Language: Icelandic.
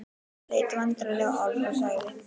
Hann leit vandræðalega á Álf og sagði